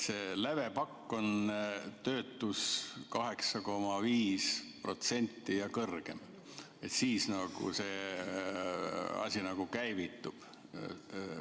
See lävepakk on, et kui töötus on 8,5% ja kõrgem, siis see asi nagu käivitub.